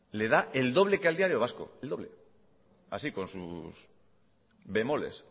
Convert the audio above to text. le da el doble que al diario vasco el doble así con sus bemoles